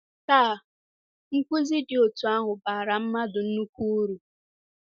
“Taa, nkụzi dị otú ahụ bara mmadụ nnukwu uru.